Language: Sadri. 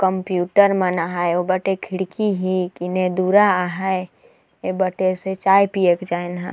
कंप्यूटर मन आहैं ओ बटे खिड़की है किने दुरा आहैं ए बटेर से चाय पिए के जाएन ह।